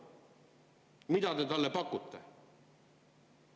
Mida te talle pakute?